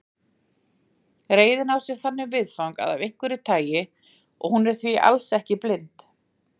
Reiðin á sér þannig viðfang af einhverju tagi og hún er því alls ekki blind.